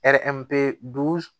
dusu